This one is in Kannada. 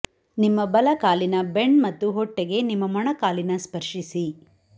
ನಿಮ್ಮ ಬಲ ಕಾಲಿನ ಬೆಂಡ್ ಮತ್ತು ಹೊಟ್ಟೆಗೆ ನಿಮ್ಮ ಮೊಣಕಾಲಿನ ಸ್ಪರ್ಶಿಸಿ